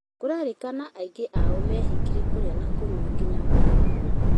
Kũrerĩkana aingĩ ao meehingire kũrĩa na kũnyua nginya magĩkua